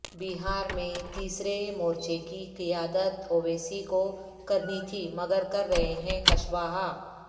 بہارمیںتیسرے مورچے کی قیادت اویسی کو کرنی تھی مگر کر رہے ہیں کشواہا